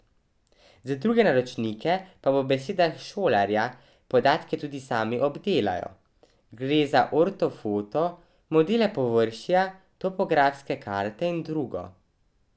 Za druge naročnike pa po besedah Šolarja podatke tudi sami obdelajo, gre za ortofoto, modele površja, topografske karte in drugo.